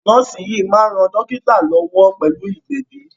Nọ́ọ́sì yìí máa ń ran dọ́kítá lọ́wọ́ pẹ̀lú ìgbẹ̀bi.